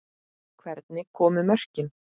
Hvernig komu mörkin?